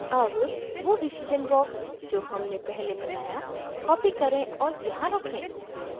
अब वो decision box जो हमने पहले बनाया copy करें और यहाँ रखें